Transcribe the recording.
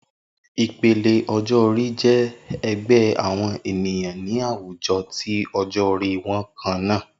Ipele ọjọ-ori jẹ ẹgbẹ awọn eniyan ni awujọ ti ọjọ-ori kanna.